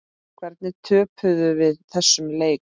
Hvernig töpuðum við þessum leik?